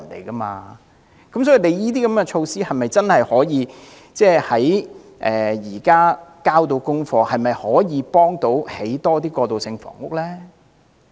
政府推出這類措施，是否真的可以"交到功課"，推動興建更多過渡性房屋？